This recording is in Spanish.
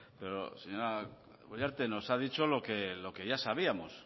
pero señora uriarte nos ha dicho lo que ya sabíamos